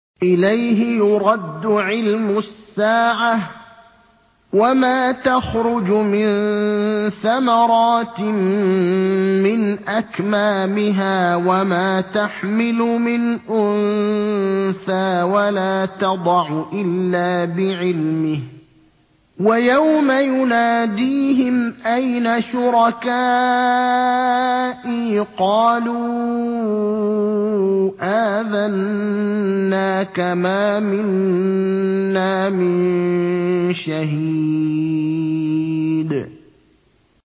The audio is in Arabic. ۞ إِلَيْهِ يُرَدُّ عِلْمُ السَّاعَةِ ۚ وَمَا تَخْرُجُ مِن ثَمَرَاتٍ مِّنْ أَكْمَامِهَا وَمَا تَحْمِلُ مِنْ أُنثَىٰ وَلَا تَضَعُ إِلَّا بِعِلْمِهِ ۚ وَيَوْمَ يُنَادِيهِمْ أَيْنَ شُرَكَائِي قَالُوا آذَنَّاكَ مَا مِنَّا مِن شَهِيدٍ